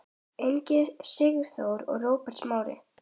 Ingi Sigþór og Róbert Smári.